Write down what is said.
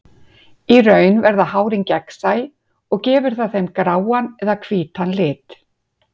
Í raun verða hárin gegnsæ og gefur það þeim gráan eða hvítan lit.